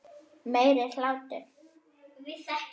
Meiri hlátur.